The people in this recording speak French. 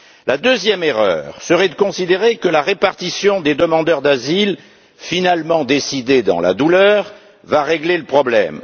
La deuxième erreur serait de considérer que la répartition des demandeurs d'asile, finalement décidée dans la douleur, va régler le problème.